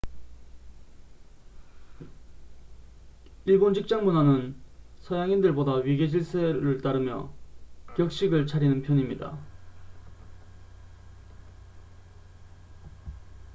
일본 직장문화는 서양인들보다 위계질서를 따르며 격식을 차리는 편입니다